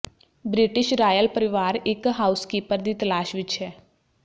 British royal ਪਰਿਵਾਰ ਇਕ housekeeper ਦੀ ਤਲਾਸ਼ ਵਿਚ ਹੈ